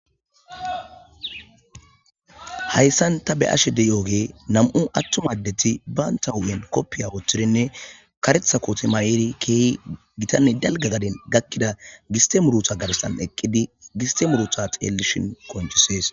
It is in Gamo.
Hayssan tana beashe deyooge nam'u attum addeti baanta hu'en koppiya woothtirinne karetha kooti ma'iri keehi gitanne dalga gaden gakkida giste muruta gabsan eqqidi gistemuruta xeellishin konchisees.